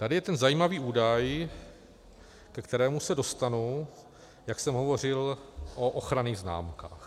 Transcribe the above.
Tady je ten zajímavý údaj, ke kterému se dostanu, jak jsem hovořil o ochranných známkách.